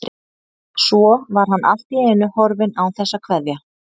Svo var hann allt í einu horfinn án þess að kveðja.